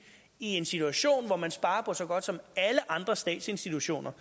i en situation hvor man sparer på så godt som alle andre statsinstitutioner